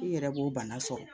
I yɛrɛ b'o bana sɔrɔ